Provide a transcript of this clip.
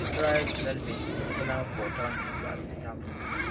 we dey dry snail meat dey sell am for town people as better food